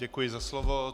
Děkuji za slovo.